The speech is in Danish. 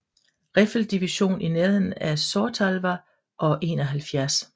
Riffeldivision i nærheden af Sortavala og 71